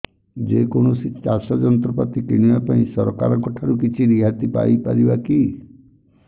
ଯେ କୌଣସି ଚାଷ ଯନ୍ତ୍ରପାତି କିଣିବା ପାଇଁ ସରକାରଙ୍କ ଠାରୁ କିଛି ରିହାତି ପାଇ ପାରିବା କି